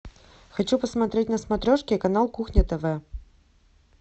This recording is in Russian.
хочу посмотреть на смотрешке канал кухня тв